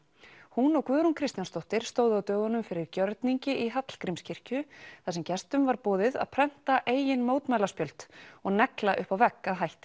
hún og Guðrún Kristjánsdóttir stóðu á dögunum fyrir gjörningi í Hallgrímskirkju þar sem gestum var boðið að prenta eigin mótmælaspjöld og negla upp á vegg að hætti